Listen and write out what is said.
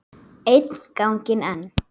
Einn ganginn enn.